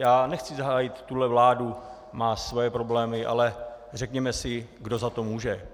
Já nechci hájit tuhle vládu, má svoje problémy, ale řekněme si - kdo za to může?